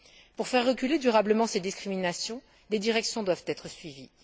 Pour faire reculer durablement ces discriminations, des directions doivent être suivies.